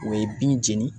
O ye bin jeni